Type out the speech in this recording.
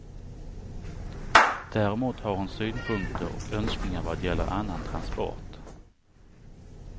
Däremot har hon synpunkter och önskningar vad gäller annan transport.